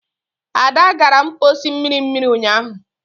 Ada gara mposi mmiri mmiri unyahu.